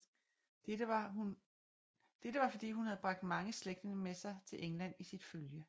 Dette var fordi hun havde bragt mange slægtninge med sig til England i sit følge